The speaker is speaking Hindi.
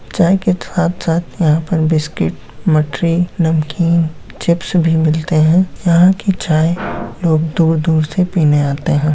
चाय के साथ-साथ यहां पर बिस्किट मठरी नमकीन चिप्स भी मिलते हैं यहां की चाय लोग दूर-दूर से पीने आते हैं।